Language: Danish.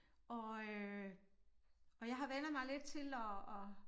Og øh og jeg har vænnet mig lidt til at at